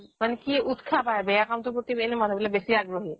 মানে কি উতসাহ পায় বেয়া কামটোৰ প্ৰতি এনেও মানুহবিলাক বেছি আগ্ৰহী